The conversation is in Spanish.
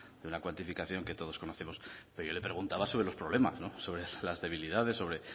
de una cuantificación que todos conocemos pero yo le preguntaba sobre los problemas sobre las debilidades sobre